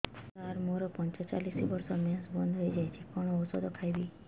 ସାର ମୋର ପଞ୍ଚଚାଳିଶି ବର୍ଷ ମେନ୍ସେସ ବନ୍ଦ ହେଇଯାଇଛି କଣ ଓଷଦ ଖାଇବି